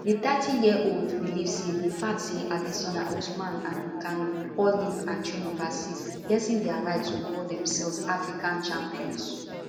di 30yearold believe say di fact say adesanya usman and ngannou all live and train overseas lessen dia right to call demselves african champions